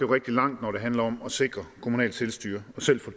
rigtig langt når det handler om at sikre at kommunale selvstyre selv får